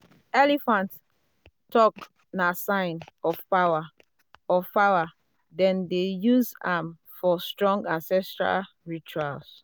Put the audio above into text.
elephant tusk na sign um of power um of power dem dey use am um for strong ancestral rituals.